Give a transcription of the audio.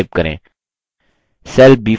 cell b5 पर click करें